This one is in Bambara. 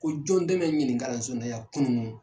Ko jɔn dɛmɛ ɲin kalanso in na ya kunu.